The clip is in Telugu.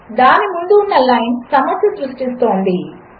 దానిముందుఉన్నలైన్సమస్యసృష్టిస్తోంది